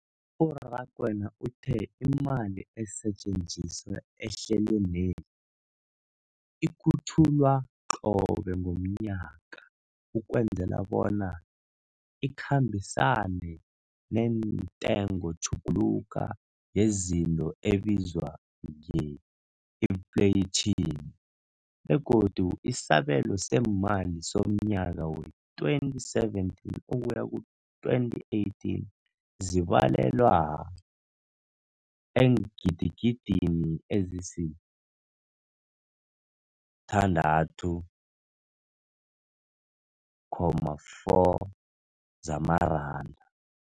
U-Rakwena uthe imali esetjenziswa ehlelweneli ikhutjhulwa qobe ngomnyaka ukwenzela bona ikhambisane nentengotjhuguluko yezinto ebizwa nge-infleyitjhini, begodu isabelo seemali somnyaka we-2017 ukuya ku-2018 sibalelwa eengidigidini ezisi-6.4 zamaranda.